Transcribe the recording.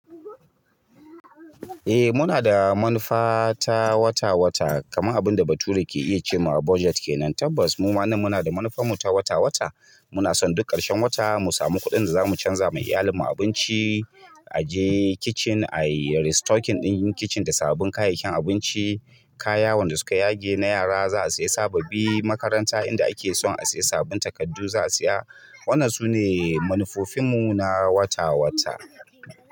Eh muna da manufa ta wata wata, kamar abinda bature ke iya ce ma a budget kenan. Tabbas mu ma ne muna da manufa mu ta wata wata. Muna son duk ƙarshen wata mu samu kuɗin da za mu canza ma iyalan mu abinci, a je kicin a yi restocking ɗin yin kicin da sabbin kayayyakin abinci, kayan wanda suka yage na yara za a siya sababbi, makaranta inda ake son a siya sabbin takardu za a siya. Wannan sune manufofin mu na wata wata.